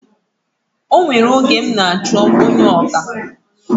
O nwere oge m n'achọ onye ọkà